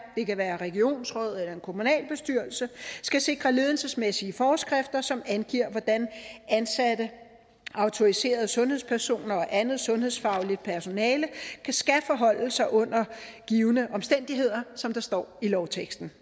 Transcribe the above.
det kan være et regionsråd eller en kommunalbestyrelse skal sikre ledelsesmæssige forskrifter som angiver hvordan ansatte autoriserede sundhedspersoner og andet sundhedsfagligt personale skal forholde sig under givne omstændigheder som der står i lovteksten